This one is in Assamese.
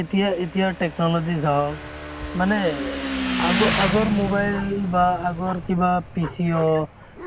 এতিয়া এতিয়া technology চাৱক মানে আগ আগৰ mobile বা আগৰ কিবা PCO,